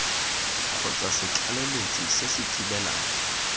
kgotsa setlaleletsi se se thibelang